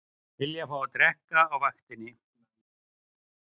Vilja fá að drekka á vaktinni